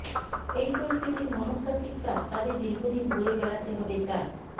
এই পরিস্থিতির মনস্তাত্তিক চাপ তাদের দীর্ঘদিন বয়ে বেড়াতে হবে চার